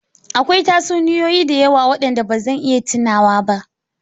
Akwai tatsuniyoyi da yawa waɗanda ba zan iya tunawa ba.